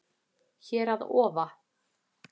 Hér að ofa